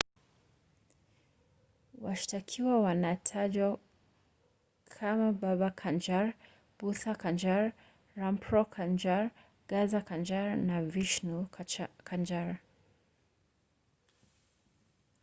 washtakiwa wanatajwa kamababa kanjar bhutha kanjar rampro kanjar gaza kanjar na vishnu kanjar